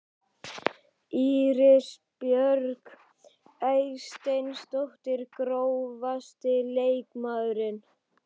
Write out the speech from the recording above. Íris Björk Eysteinsdóttir Grófasti leikmaðurinn?